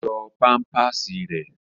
Yọ pámpàsì rẹ̀!